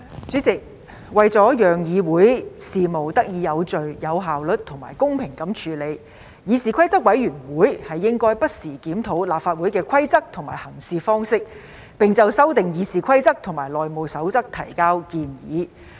主席，為了讓議會事務得以有序、有效率及公平地處理，議事規則委員會應該不時檢討立法會的規則及行事方式，並就修訂《議事規則》及《內務守則》提交建議。